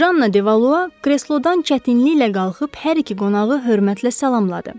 Janna Devalua kreslodan çətinliklə qalxıb hər iki qonağı hörmətlə salamladı.